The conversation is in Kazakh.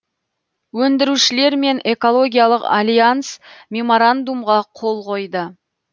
өндірушілер мен экологиялық альянс меморандумға қол қойды